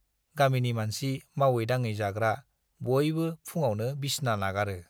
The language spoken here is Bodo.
गामिनि मानसि, मावै-दाङे जाग्रा - बयबो फुङावनो बिसना नागारो।